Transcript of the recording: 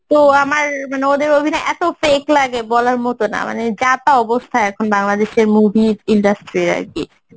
তো আমার মানে ওদের অভিনয় এত fake লাগে বলার মতো না মানে যাতা অবস্থা এখন বাংলাদেশের movie র industry আরকি